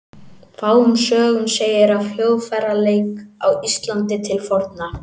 Fáum sögum segir af hljóðfæraleik á Íslandi til forna.